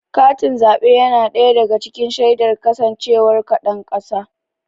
Katin zaɓe yana ɗaya daga cikin shaidar kasancewar ka ɗan ƙasa.